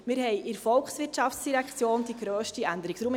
Wir haben in der VOL die grösste Änderung;